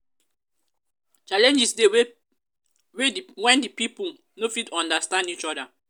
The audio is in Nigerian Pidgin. challenges de when di pipo no fit understand each other